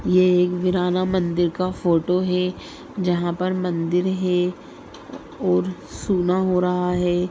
ये एक वीराना मंदिर का फोटो है जहा पर मंदिर है और सूना हो रहा है।